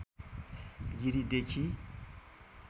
गिरिदेखि